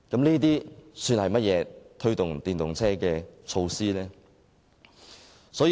這算是甚麼推動電動車的措施呢？